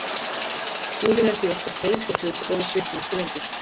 Húðin er því oftast heit og þurr og við svitnum ekki lengur.